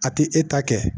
A ti e ta kɛ